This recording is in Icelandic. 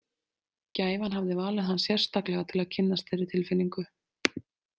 Gæfan hafði valið hann sérstaklega til að kynnast þeirri tilfinningu.